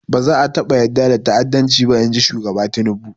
Ba za a taɓa yarda da ta'addanci ba, in ji shugaba Tinubu.